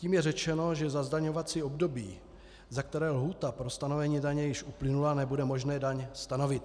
Tím je řečeno, že za zdaňovací období, za které lhůta pro stanovení daně již uplynula, nebude možné daň stanovit.